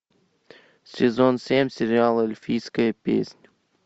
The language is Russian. сезон семь сериала эльфийская песнь